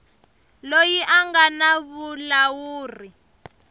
loyi a nga na vulawuri